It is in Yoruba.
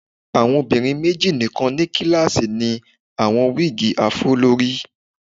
Awọn obinrin meji nikan ni kilasi ni awọn wigi afro lori